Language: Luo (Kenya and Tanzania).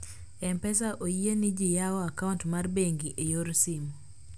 mpesa iyie ni ji yawo akaunt mar bengi e yor simu